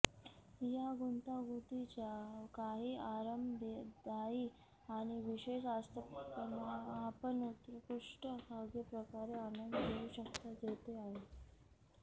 या गुंतागुंतीच्या काही आरामदायी आणि विशेष आस्थापना आपण उत्कृष्ट खाद्यप्रकार आनंद घेऊ शकता जेथे आहे